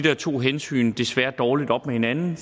to hensyn desværre dårligt op med hinanden